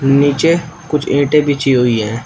नीचे कुछ ईंटें बिछी हुई है।